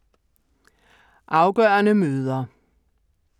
Afgørende møder